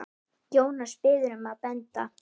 Jónas biður um að benda